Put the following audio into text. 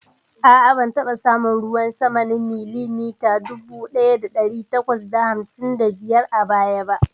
A'a, ban taɓa samun ruwan sama na milimita dubu ɗaya ɗari takwas da hamsin da biyar a baya ba.